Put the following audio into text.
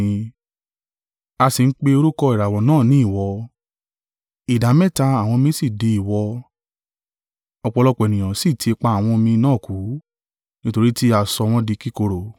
A sì ń pe orúkọ ìràwọ̀ náà ní Iwọ, ìdámẹ́ta àwọn omi sì di iwọ, ọ̀pọ̀lọpọ̀ ènìyàn sì tí ipa àwọn omi náà kú, nítorí tí a sọ wọn di kíkorò.